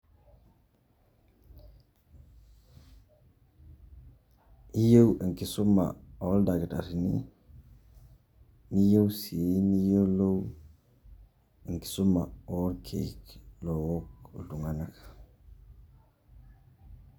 Iyieu enkisuma oldakitarrini, niyieu si niyiolou enkisuma orkeek look iltung'anak.